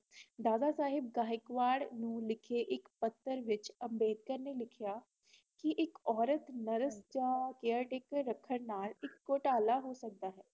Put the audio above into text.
ਦਾਦਾ ਸਾਹਿਬ ਗਹਿਕਵਾਦ ਨੂੰ ਲਿਖੇ ਇਕ ਪੱਤਰ ਵਿੱਚ ਅੰਬੇਡਕਰ ਨੇ ਲਿਖਿਆ ਕਿ ਇਕ ਔਰਤ nurse ਜਾਂ caretaker ਰੱਖਣ ਨਾਲ ਇਕ ਘੋਟਾਲਾ ਹੋ ਸਕਦਾ ਏ